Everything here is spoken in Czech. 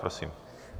Prosím.